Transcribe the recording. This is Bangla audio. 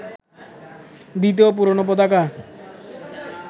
দ্বিতীয় পুরোনো পতাকা